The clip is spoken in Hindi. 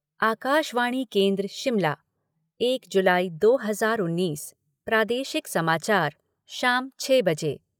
आकाशवाणी केंद्र शिमला एक जुलाई दो हज़ार उन्नीस प्रादेशिक समाचार शाम छः बजे